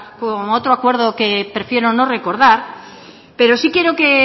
como otro acuerdo que prefiero no recordar pero sí quiero que